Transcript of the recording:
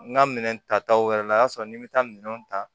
N ka minɛn tataw wɛrɛ la o y'a sɔrɔ ni n bɛ taa minɛnw ta